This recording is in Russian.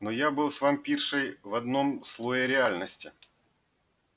но я был с вампиршей в одном слое реальности